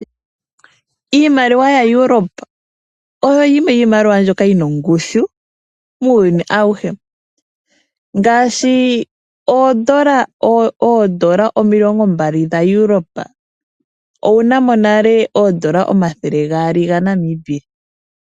Iimaliwa yaEurope oyo yimwe yomiimaliwa mbyoka yi na ongushu muuyuni awuhe. Ngaashi oondola omilongo nbali dha Europe pwu na mo nale oondola omathele gaali dhaNamibia.